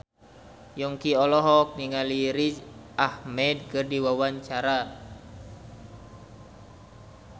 Yongki olohok ningali Riz Ahmed keur diwawancara